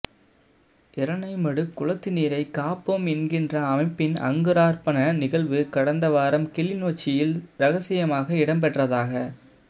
இரணைமடு குளத்து நீரை காப்போம் என்கின்ற அமைப்பின் அங்குரார்பண நிகழ்வு கடந்த வாரம் கிளிநொச்சியில் இரகசியமாக இடம்பெற்றதாக